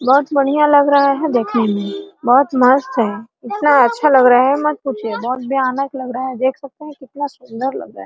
बहुत बढ़िया लग रहा है देखने मे बहुत मस्त है इतना अच्छा लग रहा है मत पूछिए बहुत भयानक लग रहा है देख सकते है कितना सुंदर लग रहा है ।